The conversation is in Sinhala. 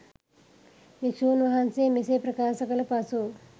භික්ෂූන් වහන්සේ මෙසේ ප්‍රකාශ කළ පසු